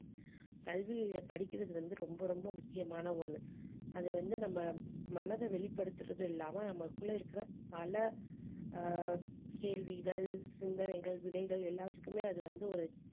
கல்வியை படிக்கிறது வந்து ரொம்ப ரொம்ப முக்கியமான ஒண்ணு அது வந்து நம்ம மனதை வெளிப்படுத்தறது இல்லாம நமக்குள்ள இருக்கிற பல ஆஹ் கேள்விகள் சிந்தனைகள் விதைகள் எல்லாத்துக்குமே அது வந்து ஒரு